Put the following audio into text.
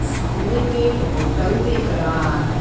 सामने में एक होटल दिख रहा है।